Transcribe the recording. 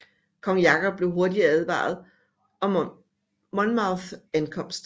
Kong Jakob blev hurtigt advaret om Monmouths ankomst